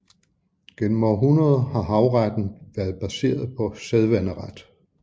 Gennem århundreder har havretten været baseret på sædvaneret